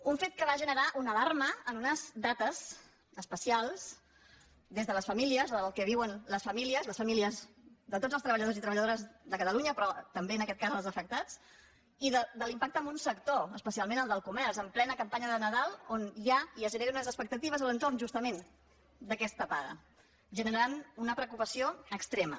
un fet que va generar una alarma en unes dates especials des de les famílies el que viuen les famílies les famílies de tots els treballadors i treballadores de catalunya però també en aquest cas els afectats i de l’impacte en un sector especialment el del comerç en plena campanya de nadal on hi ha i es generen unes expectatives a l’entorn justament d’aquesta paga generant una preocupació extrema